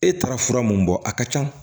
E taara fura mun bɔ a ka ca